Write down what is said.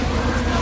Sağ əyləş.